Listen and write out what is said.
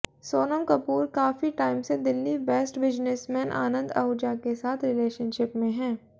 सोनम कपूर काफी टाइम से Delhi based businessman Anand Ahuja के साथ रिलेशनशिप में है